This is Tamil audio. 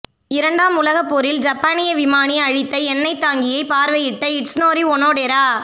இரண்டாம் உலகப் போரில் ஜப்பானிய விமானி அழித்த எண்ணெத் தாங்கியை பார்வையிட்ட இட்சுனோரி ஒனோடெரா